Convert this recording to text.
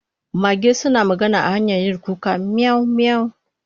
Mage suna magana ta hanyar yin kuka miyau miyau